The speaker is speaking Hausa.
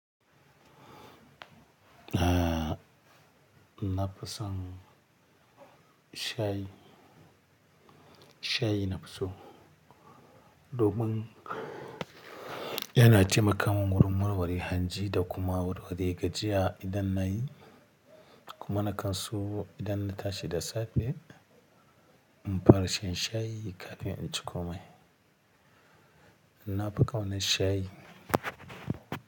Ah, na fi son shayi, shayi nafi so. Domin yana taimakamun gurin warware hanji da kuma warware gajiya idan na yi, kuma na kan so idan na tashi da safe in fara shan shayi kafin in ci komai. Na fi ƙaunar shayi.